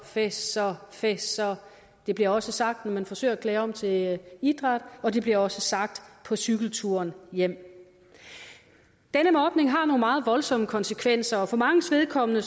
fessor fessor det bliver også sagt når han forsøger at klæde om til idræt og det bliver også sagt på cykelturen hjem denne mobning har nogle meget voldsomme konsekvenser og for manges vedkommende